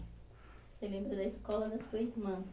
Você lembra da escola da sua irmã?